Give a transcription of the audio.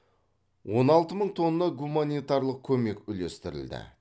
он алты мың тонна гуманитарлық көмек үлестірілді